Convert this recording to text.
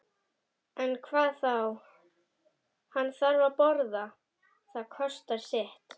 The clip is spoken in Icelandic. En hvað þá, hann þarf að borða, það kostar sitt.